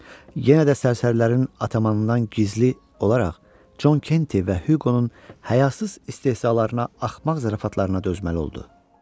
Yenə də sərsərilərin atamanından gizli olaraq Con Kenti və Huqonun həyasız istehzalarına, axmaq zarafatlarına dözməli oldu.